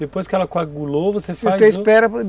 Depois que ela coagulou, você faz outra?